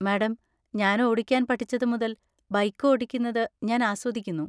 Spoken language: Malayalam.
മാഡം, ഞാൻ ഓടിക്കാൻ പഠിച്ചത് മുതൽ ബൈക്ക് ഓടിക്കുന്നത് ഞാൻ ആസ്വദിക്കുന്നു.